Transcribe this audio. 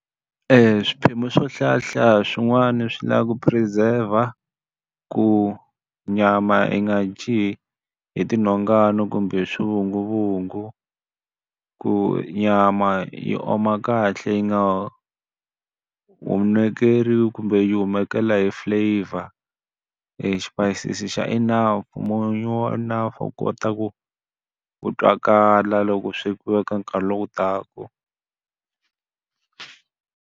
Swiphemu swo hlayahlaya swin'wani swi lava ku preserve-a, ku nyama yi nga dyi hi ti nhongani kumbe hi swivunguvungu. Ku nyama yi oma kahle yi nga ohekeriwi kumbe yi humekela hi flavor, exipayisisi xa enough, munyu wa enough wu kota ku wu twakala loko swi ka nkarhi lowu taka.